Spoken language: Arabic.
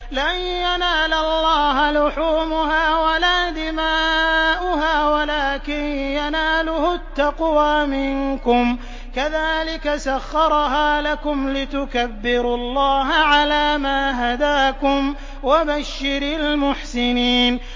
لَن يَنَالَ اللَّهَ لُحُومُهَا وَلَا دِمَاؤُهَا وَلَٰكِن يَنَالُهُ التَّقْوَىٰ مِنكُمْ ۚ كَذَٰلِكَ سَخَّرَهَا لَكُمْ لِتُكَبِّرُوا اللَّهَ عَلَىٰ مَا هَدَاكُمْ ۗ وَبَشِّرِ الْمُحْسِنِينَ